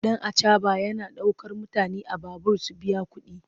Ɗan acaɓa yana ɗaukar mutane a babur su biya kuɗi.